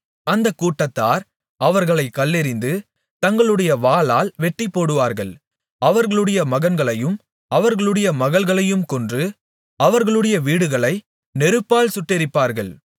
அந்தக் கூட்டத்தார் அவர்களைக் கல்லெறிந்து தங்களுடைய வாளால் வெட்டிப்போடுவார்கள் அவர்களுடைய மகன்களையும் அவர்களுடைய மகள்களையும் கொன்று அவர்களுடைய வீடுகளை நெருப்பால் சுட்டெரிப்பார்கள்